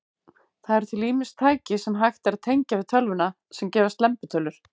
Það eru til ýmis tæki, sem hægt er að tengja við tölvuna, sem gefa slembitölur.